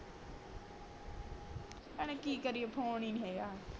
ਭੈਣੇ ਕਿ ਕਰੀਏ ਫੋਨ ਹੀ ਨੀ ਹੇਗਾ